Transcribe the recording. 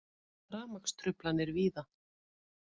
Rafmagnstruflanir víða